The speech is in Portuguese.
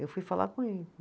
Eu fui falar com ele.